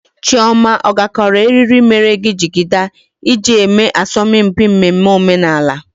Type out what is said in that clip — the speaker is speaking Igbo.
Chioma ọ gakọrọ eriri mere gị jigida iji eme asọmpi mmemme omenala?